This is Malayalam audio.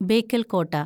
ബേക്കല്‍ കോട്ട